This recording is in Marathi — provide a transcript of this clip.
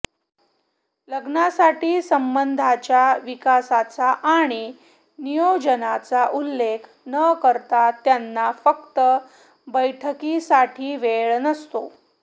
लग्नासाठी संबंधांच्या विकासाचा आणि नियोजनाचा उल्लेख न करता त्यांना फक्त बैठकींसाठी वेळ नसतो